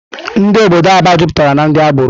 Ndụ obodo Aba jupụtara na ndị agbọrọ.